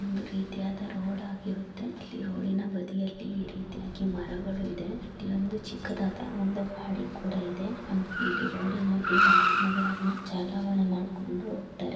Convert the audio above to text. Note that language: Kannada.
ಒಂದು ರೀತಿಯ ರೋಡ್ ಆಗಿರುತ್ತೆ ಈ ರೋಡಿನ ಬದಿಯಲ್ಲಿ ಈ ರೀತಿಯಾಗಿ ಮರಗಳು ಇದೆ ಇಲ್ಲಿ ಒಂದು ಚಿಕ್ಕದಾದ ಗಾಡಿ ಕೂಡ ಇದೆ ಇಲ್ಲಿ ರೋಡಿನಲ್ಲಿ ವಾಹನಗಳನ್ನು ಚಾಲವಣೆ ಮಾಡ್ಕೊಂಡ್ ಹೋಗ್ತಾರೆ.